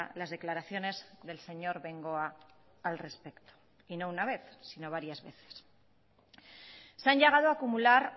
las declaraciones del señor bengoa al respecto y no una vez sino varias veces se han llegado a acumular